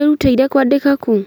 Werutire kũandĩka kũ?